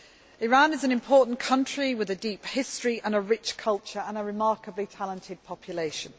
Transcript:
Iran is an important country with a deep history and rich culture, and a remarkably talented population.